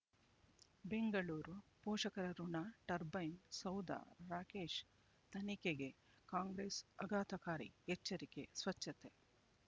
ಬೆಂಗಳೂರು ಪೋಷಕರಋಣ ಟರ್ಬೈನು ಸೌಧ ರಾಕೇಶ್ ತನಿಖೆಗೆ ಕಾಂಗ್ರೆಸ್ ಆಘಾತಕಾರಿ ಎಚ್ಚರಿಕೆ ಸ್ವಚ್ಛತೆ